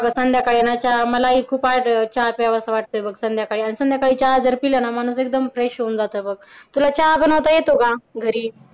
संध्याकाळी ना चहा मलाही चहा प्यावासा वाटतोय बघ आणि संध्याकाळी चहा जर पीला ना तर माणूस एकदम fresh होऊन जात बघ. तुला चहा बनवता येतो का? घरी